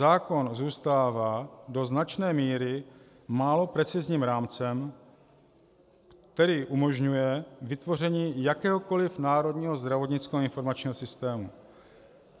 Zákon zůstává do značné míry málo precizním rámcem, který umožňuje vytvoření jakéhokoliv národního zdravotnického informačního systému.